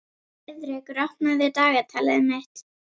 Heiðrekur, opnaðu dagatalið mitt.